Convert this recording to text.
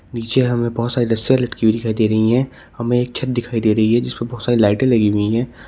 नीचे हमे बहोत सारी लस्सियां लटकी हुई दिखाई दे रही है हमे एक छत दिखाई दे रही है जिसपे बहुत सारी लाइटे लगी हुई है।